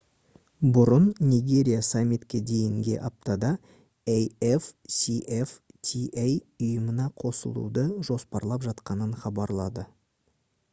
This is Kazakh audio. бұрын нигерия саммитке дейінге аптада afcfta ұйымына қосылуды жоспарлап жатқанын хабарлады